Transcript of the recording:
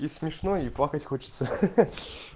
и смешно и плакать хочется ха-ха